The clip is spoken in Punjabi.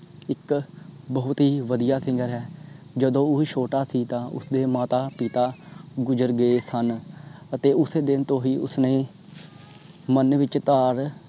ਇਕ ਬਹੁਤ ਹੀ ਵਦੀਆ singer ਹੈ। ਜਦੋ ਓਹੋ ਛੋਟਾ ਸੀ ਤਾਂ ਉਸਦੇ ਮਾਤਾ ਪਿਤਾ ਗੁਜਰ ਗਏ ਸਨ। ਅਤੇ ਉਸ ਦਿਨ ਤੋਂ ਹੀ ਉਸਨੇ ਮਨ ਵਿਚ ਧਾਰ